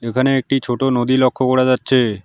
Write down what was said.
এখানে একটি ছোট নদী লক্ষ্য করা যাচ্ছে।